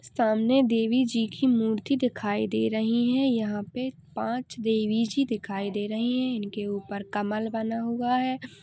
सामने देवी जी की मूर्ति दिखाई दे रही हैं। यहाँं पर पांच देवी जी दिखाई दे रही हैं। इनके ऊपर कमल बना हुआ है।